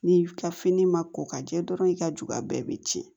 Ni ka fini ma ko ka jɛ dɔrɔn i ka juga bɛɛ bɛ tiɲɛ